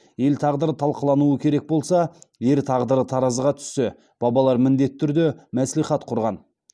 ел тағдыры талқылануы керек болса ер тағдыры таразыға түссе бабалар міндетті түрде мәслихат құрған